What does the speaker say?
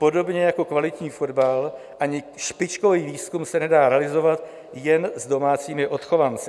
Podobně jako kvalitní fotbal ani špičkový výzkum se nedá realizovat jen s domácími odchovanci.